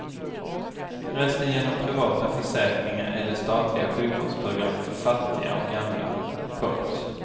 Resten genom privata försäkringar eller statliga sjukvårdsprogram för fattiga och gamla. punkt